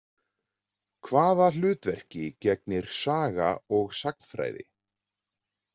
Hvaða hlutverki gegnir saga og sagnfræði?